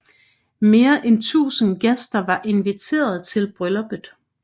Mere end 1000 gæster var inviteret til brylluppet